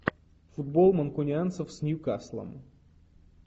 футбол манкунианцев с ньюкаслом